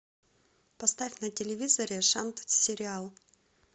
поставь на телевизоре шант сериал